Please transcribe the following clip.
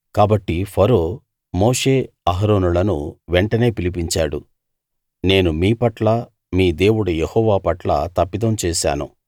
కాబట్టి ఫరో మోషే అహరోనులను వెంటనే పిలిపించాడు నేను మీ పట్లా మీ దేవుడు యెహోవా పట్లా తప్పిదం చేశాను